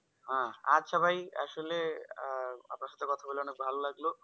হ্যাঁ আচ্ছা ভাই আসলে আহ আপনার সাথে কথা বলে অনেক ভালো লাগলো